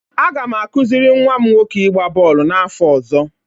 Aga m akụziri nwa m nwoke ịgba bọọlụ n'afọ ọzọ